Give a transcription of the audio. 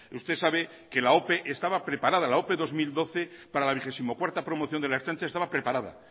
usted sabe que la ope estaba preparada la ope dos mil doce para la vigesimocuarta promoción de la ertzaintza estaba preparada